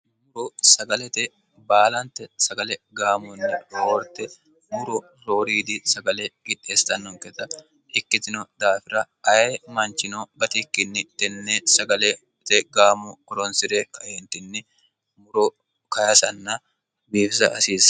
muro sagalete baalante sagale gaamunni rohoorte muro rooriidi sagale gideestannonketa ikkitino daafira aye manchino batikkinni tennee sagalete gaamu qoronsi're kaeentinni muro kayasanna biifisa asiisse